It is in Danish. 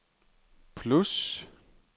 plus